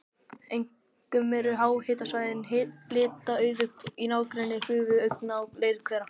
Einkum eru háhitasvæðin litauðug í nágrenni gufuaugna og leirhvera.